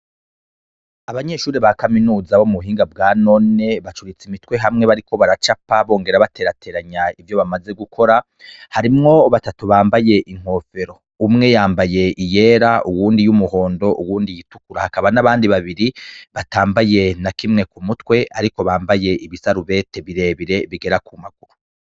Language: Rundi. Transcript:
Abanyeshure bakamenuza ,bo mubuhinga bw,anone bacuritswe imitwe hamwe bariko Baracapa ,bongera bakurikirana muvyo bariko barakora harimwo batatu bambaye inkofero ,umwe yambaye ,iyera, uwundi y'umuhondo uwundi iyituku hakaba nabandi atanakimwe bambaye ariko bakaba bambaye ibisarubeti bigera ku maguru.